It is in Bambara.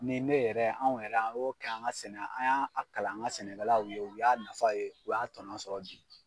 Ni ne yɛrɛ anw yɛrɛ an o kɛ an ka sɛnɛ an y'a a kalan an ŋa sɛnɛkɛlaw ye, u y'a nafa ye, u y'a tɔnɔ sɔrɔ bi.